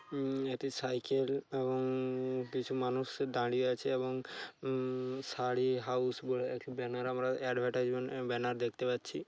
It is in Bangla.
উম এটি সাইকেল এবং উম উম কিছু মানুষ দাঁড়িয়ে আছে এবং উম শাড়ি হাউস বলে একটি ব্যানার আমরা এডভারটাইজমেন্ট এম ব্যানার দেখতে পাচ্ছি।